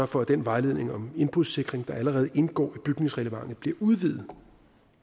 for at den vejledning om indbrudssikring der allerede indgår i bygningsreglementet bliver udvidet